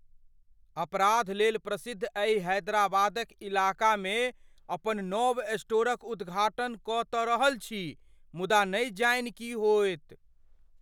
अपराधलेल प्रसिद्ध एहि हैदराबादक इलाकामे अपन नव स्टोरक उद्घाटन कऽ तँ रहल छी मुदा नहि जानि की होयत।